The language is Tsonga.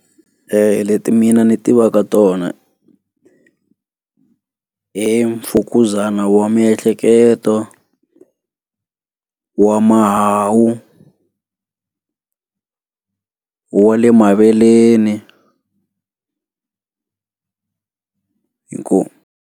Leti mina ndzi tivaka tona i i mfukuzana wa miehleketo wa mahawu wa le maveleni inkomu.